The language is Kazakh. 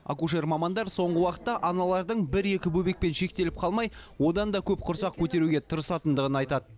акушер мамандар соңғы уақытта аналардың бір екі бөбекпен шектеліп қалмай одан да көп құрсақ көтеруге тырысатындығын айтады